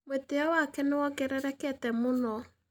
Mũĩtĩyo wake nĩ wongererekete mũno.